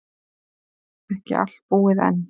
Ekki allt búið enn.